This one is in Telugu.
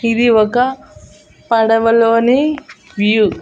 ఇది ఒక పడవలోని వ్యూ .